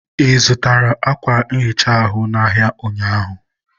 ị zụtara ákwà nhicha ahụ n' ahịa ụnyaahụ?